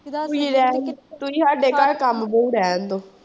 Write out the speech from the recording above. ਤੁਸੀਂ ਸਾਡੇ ਘਰ ਕੰਮ ਲਈ ਰਹਿਣ ਦਓ।